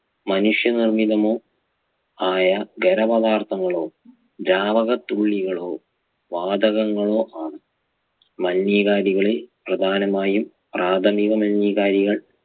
മനുഷ്യനിർമ്മിതമോ ആയ ഖരപദാർത്ഥങ്ങളോ ദ്രാവകത്തുള്ളികളോ വാതകങ്ങളോ ആണ് മലിനീകാരികളിൽ പ്രധാനമായും പ്രാഥമിക മലിനീകാരികൾ